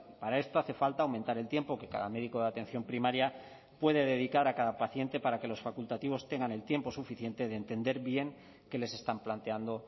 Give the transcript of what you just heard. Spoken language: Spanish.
para esto hace falta aumentar el tiempo que cada médico de atención primaria puede dedicar a cada paciente para que los facultativos tengan el tiempo suficiente de entender bien qué les están planteando